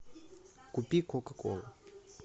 купи кока колу